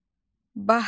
Bahar.